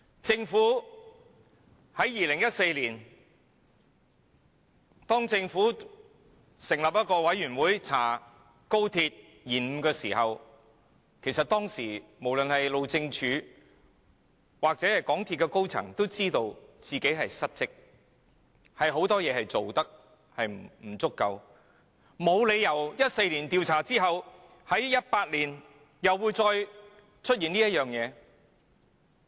政府於2014年成立獨立專家小組就高鐵工程延誤展開調查，其實當時不論是路政署或港鐵高層也知道自己失職，有很多事情做得不足，所以沒有理由於2014年調查後，同一問題在2018年又再次出現。